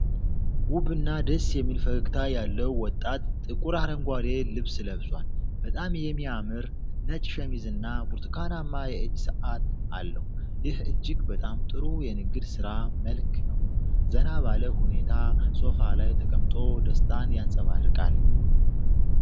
ውብና ደስ የሚል ፈገግታ ያለው ወጣት ጥቁር አረንጓዴ ልብስ ለብሷል። በጣም የሚያምር ነጭ ሸሚዝና ብርቱካናማ የእጅ ሰዓት አለው፤ ይህ እጅግ በጣም ጥሩ የንግድ ሥራ መልክ ነው። ዘና ባለ ሁኔታ ሶፋ ላይ ተቀምጦ ደስታን ያንጸባርቃል።